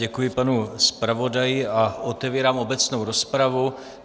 Děkuji panu zpravodaji a otevírám obecnou rozpravu.